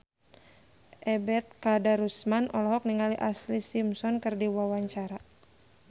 Ebet Kadarusman olohok ningali Ashlee Simpson keur diwawancara